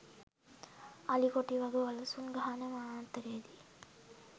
අලි කොටි වග වලසුන් ගහණ වනන්තරයේ දී